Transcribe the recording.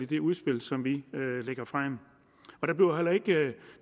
det udspil som vi lægger frem